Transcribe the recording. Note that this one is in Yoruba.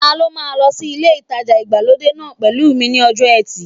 Ta ló máa lọ sí ilé ìtajà ìgbàlódé náà pẹ̀lú mi ní ọjọ́ ẹtì